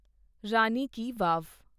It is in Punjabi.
ਰਾਣੀ ਕੀ ਵਾਵ